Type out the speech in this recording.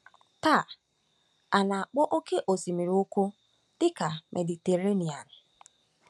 Taa, a na-akpọ Oké Osimiri Ukwu dị ka Mediterenian.